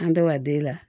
An bɛ wa den la